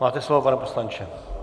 Máte slovo, pane poslanče.